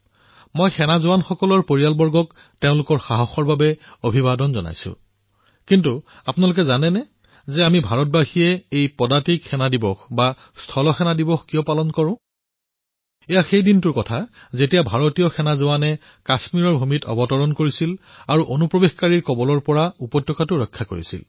মই আমাৰ সৈনিকসকলৰ পৰিয়ালকো তেওঁলোকৰ সাহসৰ বাবে ছেল্যুট প্ৰদান কৰিছোঁ কিন্তু আপোনালোকে জানেনে যে আমি সকলো ভাৰতৰ নাগৰিকে এই ইনফেণ্ট্ৰী ডে কিয় পালন কৰোঁ এই দিনটোতেই ভাৰতীয় সেনাই কাশ্মীৰৰ ভূমিৰ পৰা অনুপ্ৰৱেশকাৰীসকলক উৎখাট কৰিছিল